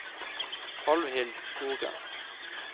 Alvhild Skogen